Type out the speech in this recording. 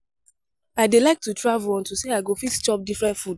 I dey like to travel unto say I go fit chop different food